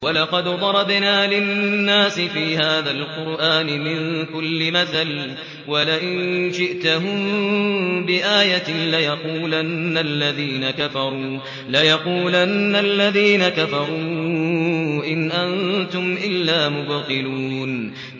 وَلَقَدْ ضَرَبْنَا لِلنَّاسِ فِي هَٰذَا الْقُرْآنِ مِن كُلِّ مَثَلٍ ۚ وَلَئِن جِئْتَهُم بِآيَةٍ لَّيَقُولَنَّ الَّذِينَ كَفَرُوا إِنْ أَنتُمْ إِلَّا مُبْطِلُونَ